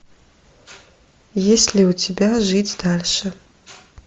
есть ли у тебя жить дальше